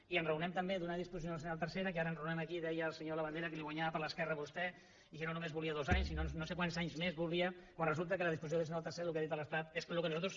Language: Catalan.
i enraonem també d’una disposició addicional tercera que ara enraonem aquí deia el senyor labandera que li guanyava per l’esquerra a vostè i que no només volia dos anys sinó no sé quants anys més volia quan resulta que la disposició addicional tercera el que ha dit l’estat és que el que nosaltres